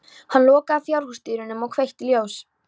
Hann lokaði fjárhúsdyrunum og kveikti ljós.